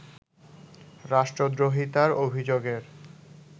রাষ্ট্রদ্রোহিতার অভিযোগের